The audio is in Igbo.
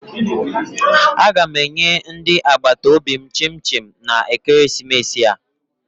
Aga m enye ndị agbataobi m chim chim na ekeresimesi a